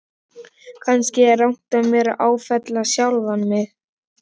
Kannski er rangt af mér að áfellast sjálfan mig.